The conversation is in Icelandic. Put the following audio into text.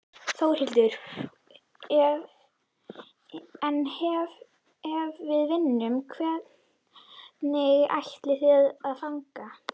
Þórhildur: En ef við vinnum, hvernig ætlið þið að fagna?